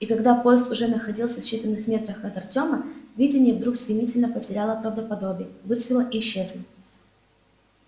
и когда поезд уже находился в считанных метрах от артёма видение вдруг стремительно потеряло правдоподобие выцвело и исчезло